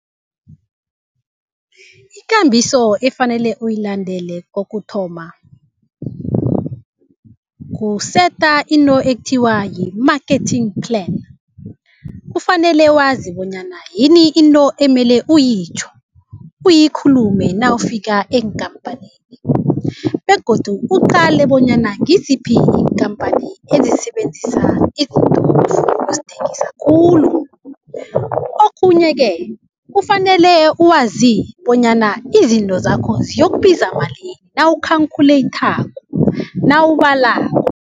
Ikambiso efanele uyilandele kokuthoma kuseta into ekuthiwa yi-marketing plan. Kufanele wazi bonyana yini into emele uyitjho, uyikhulume nawufika eenkampanini. Begodu uqale bonyana ngiziphi iinkhamphani ezisebenzisa iintolo ezithengisa khulu. Okhunye ke kufanele wazi bonyana izinto zakho ziyokubiza malini nawu-calculator nawubalako.